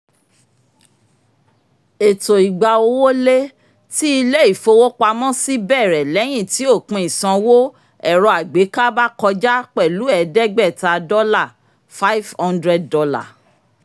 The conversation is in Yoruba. èto ìgba-owó-lé ti ilé-ìfowópamọ́sí bẹ̀rẹ̀ lẹ́yìn tí òpin-ìsanwó ẹ̀rọ-àgbéká bá kọjá pẹ̀lú ẹ̀ẹ́dẹ́gbẹ̀ta dọ́là $ five hundred